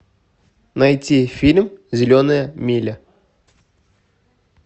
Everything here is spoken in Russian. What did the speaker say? найти фильм зеленая миля